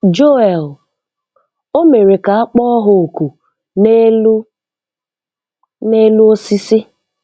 Joel: O mere ka a kpọọ ha ọkụ n'elu n'elu osisi.